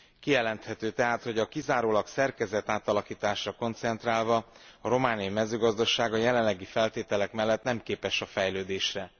Kijelenthető tehát, hogy kizárólag a szerkezetátalakításra koncentrálva a romániai mezőgazdaság a jelenlegi feltételek mellett nem képes a fejlődésre.